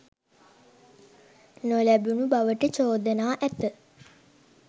නොලැබුණු බවට චෝදනා ඇත